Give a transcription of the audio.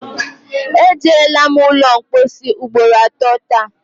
E jeela m ụlọmpochi ugboro atọ taa